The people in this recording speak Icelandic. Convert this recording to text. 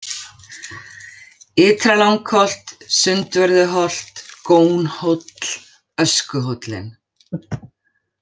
Ytra-Langholt, Sundvörðuholt, Gónhóll, Öskuhóllinn